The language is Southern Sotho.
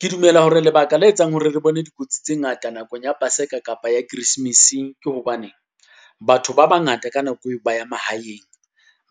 Ke dumela hore lebaka le etsang hore re bone dikotsi tse ngata nakong ya Paseka kapa ya Christmas, ke hobaneng. Batho ba bangata ka nako eo ba ya mahaeng,